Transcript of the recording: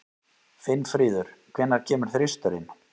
Finnfríður, hvenær kemur þristurinn?